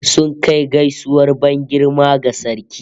Sun kai gaisuwar ban girma ga sarki